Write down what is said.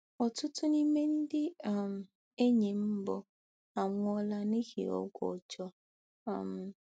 Ọtụtụ n’ime ndị um enyi m mbụ anwụọla n’ihi ọgwụ ọjọọ. um